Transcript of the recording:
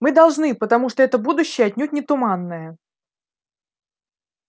мы должны потому что это будущее отнюдь не туманное